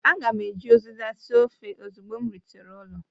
Aga m eji uziza sie ofe ozugbo m rutere ụlọ